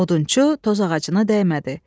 Odunçu toz ağacına dəymədi.